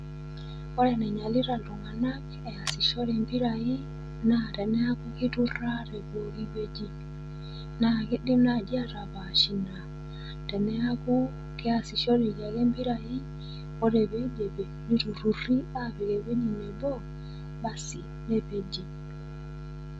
Ore eneinyalita iltung'ana easishore impirai naa teneaku keiturra tepooki wueji. Naa keidim naaji atapaash ina naa teneaku keasishoreki ake impirai ore peidipi, neiturruri apik ewueji nabo, asi nepeji.